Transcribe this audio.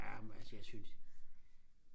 ja men altså jeg synes